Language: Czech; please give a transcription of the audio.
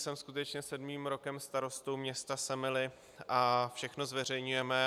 Jsem skutečně sedmým rokem starostou města Semily a všechno zveřejňujeme.